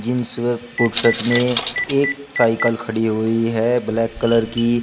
Jeans व पुट सट में एक साइकिल खड़ी हुई है ब्लैक कलर की।